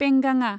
पेंगाङा